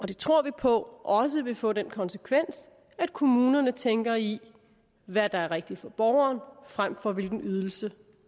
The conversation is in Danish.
det tror vi på også vil få den konsekvens at kommunerne tænker i hvad der er rigtigt for borgeren frem for hvilken ydelse